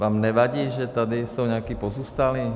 Vám nevadí, že tady jsou nějací pozůstalí?